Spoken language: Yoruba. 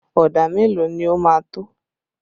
Ọ̀dà mélòó ni ó máa tó?